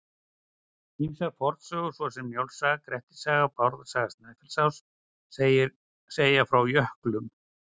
Ýmsar fornsögur svo sem Njáls saga, Grettis saga og Bárðar saga Snæfellsáss segja frá jöklum.